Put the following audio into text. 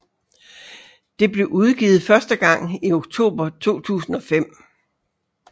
Det blev udgivet første gang i oktober 2005